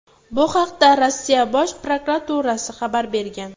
Bu haqda Rossiya Bosh prokuraturasi xabar bergan .